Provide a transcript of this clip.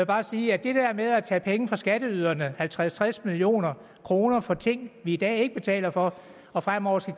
bare sige at det der med at tage penge fra skatteyderne halvtreds til tres million kroner for ting vi i dag ikke betaler for og fremover